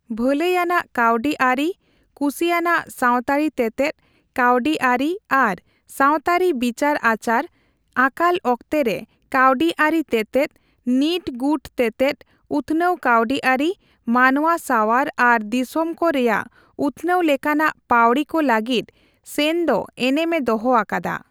ᱵᱷᱟᱹᱞᱟᱹᱭ ᱟᱱᱟᱜ ᱠᱟᱹᱣᱰᱤ ᱟᱹᱨᱤ, ᱠᱩᱥᱤᱭᱟᱱᱟᱜ ᱥᱟᱣᱛᱟᱹᱨᱤ ᱛᱮᱛᱮᱫ, ᱠᱟᱹᱣᱰᱤ ᱟᱹᱨᱤ ᱟᱨ ᱥᱟᱣᱛᱟᱹᱨᱤ ᱵᱤᱪᱟᱹᱨ ᱟᱪᱟᱨ, ᱟᱠᱟᱞ ᱚᱠᱛᱮ ᱨᱮ ᱠᱟᱹᱣᱰᱤ ᱟᱹᱨᱤ ᱛᱮᱛᱮᱫ, ᱱᱤᱴᱼᱜᱩᱴ ᱛᱮᱛᱮᱫ, ᱩᱛᱷᱱᱟᱹᱣ ᱠᱟᱹᱣᱰᱤ ᱟᱹᱨᱤ, ᱢᱟᱱᱣᱟ ᱥᱟᱣᱟᱣ ᱟᱨ ᱫᱤᱥᱚᱢ ᱠᱚ ᱨᱮᱭᱟᱜ ᱩᱛᱱᱟᱹᱣ ᱞᱮᱠᱟᱱᱟᱜ ᱯᱟᱹᱣᱲᱤ ᱠᱚ ᱞᱟᱹᱜᱤᱫ ᱥᱮᱱ ᱫᱚ ᱮᱱᱮᱢᱮ ᱫᱚᱦᱚ ᱟᱠᱟᱫᱟ ᱾